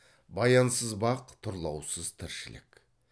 баянсыз бақ тұрлаусыз тіршілік